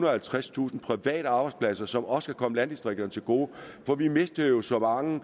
og halvtredstusind private arbejdspladser som også kan komme landdistrikterne til gode for vi mistede jo så mange